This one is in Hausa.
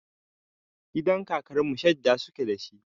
Gidan kakar mu shadda suke da shi.